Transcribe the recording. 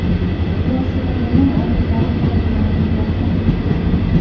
yoshi va yomon odatlari haqidagi ma’lumotlari ham kiritilgan.